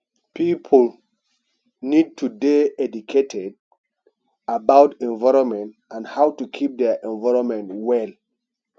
pipo need to dey educated about environment and how to keep their environment well